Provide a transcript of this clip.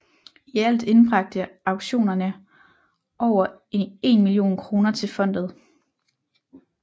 I alt indbragte auktionerne over en million kroner til fondet